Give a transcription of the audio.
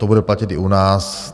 To bude platit i u nás.